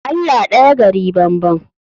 Allah daya gari banban